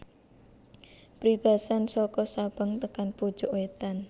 Pribasan soko Sabang tekan pucuk wetan